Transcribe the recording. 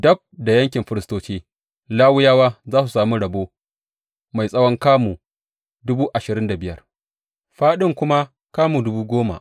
Dab da yankin firistoci, Lawiyawa za su sami rabo mai tsawon kamu dubu ashirin da biyar, fāɗin kuma kamu dubu goma.